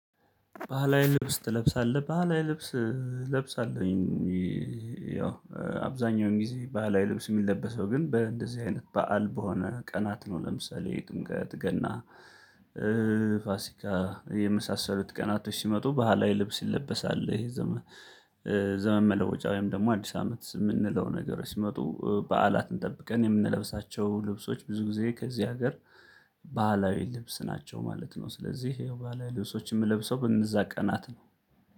ባህላዊ ልብስ ትለብሳለህ? ባህላዊ ልብስ እለብሳለሁኝ ያው አብዛኛውን ጊዜ ባህላዊ ልብስ የሚለበሰው ግን በእንደዚህ አይነት በዓል በሆነ ቀናት ነው ለምሳሌ ጥምቀት ገና ፋሲካ የመሳሰሉት ቀናቶች ሲመጡ ባህላዊ ልብስ ይለበሳል ዘመን ዘመን መለወጫ ወይም ደግሞ አዲስ አመት የምንለው ነገር ሲመጡ በዓላትን ጠብቀን የምንለብሳቸው ልብሶች ብዙ ጊዜ ከዚህ ሀገር ባህላዊ ልብስ ናቸው ማለት ነው ስለዚህ ያው ባህላዊ ልብሶች የምለብሰው በነዛ ቀናት ነው